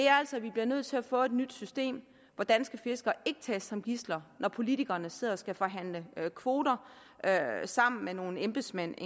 altså nødt til at få et nyt system hvor danske fiskere ikke tages som gidsler når politikerne sidder og skal forhandle kvoter sammen med nogle embedsmænd